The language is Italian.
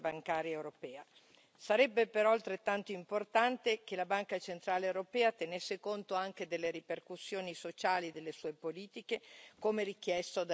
Sarebbe però altrettanto importante che la Banca centrale europea tenesse conto anche delle ripercussioni sociali delle sue politiche, come richiesto dagli accordi di Parigi.